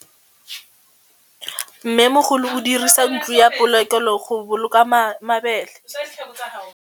Mmêmogolô o dirisa ntlo ya polokêlô, go boloka mabele.